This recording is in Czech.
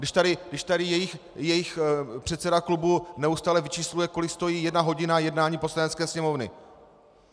Když tady jejich předseda klubu neustále vyčísluje, kolik stojí jedna hodina jednání Poslanecké sněmovny.